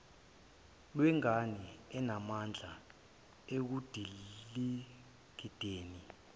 lwengane inamandla ekudingideni